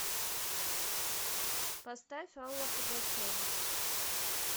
поставь алла пугачева